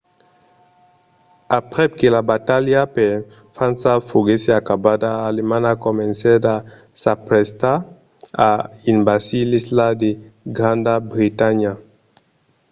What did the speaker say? aprèp que la batalha per frança foguèsse acabada alemanha comencèt a s'aprestar a envasir l’isla de granda bretanha